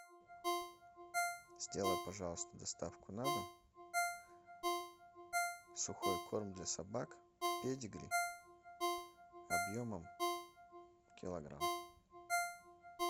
сделай пожалуйста доставку на дом сухой корм для собак педигри объемом килограмм